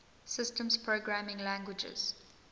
systems programming languages